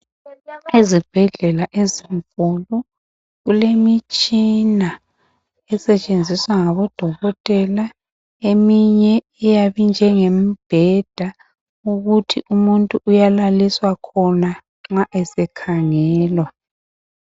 Ezibhedlela ezinkulu kulemitshina esetshenziswa ngodokotela eminye iyabe injengemibheda ukuthi umuntu uyalaliswa khona nxa ese khangelwa.